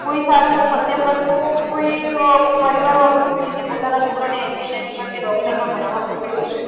કોઈ સારું એવું મધ્યમ વર્ગનું કોઈ પરિવાર વાળું હશે કે જે પોતાના છોકરાને engineering માં કે doctor માં ભણાવા મોકલ્યો હશે.